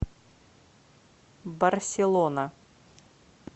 барселона